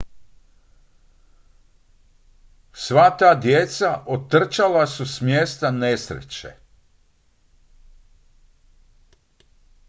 sva ta djeca otrčala su s mjesta nesreće